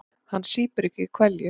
Hann sýpur ekki hveljur.